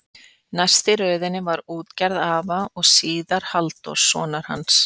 Næst í röðinni var útgerð afa og síðar Halldórs, sonar hans.